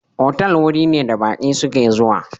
Otal waje ne da baƙi su ke zuwa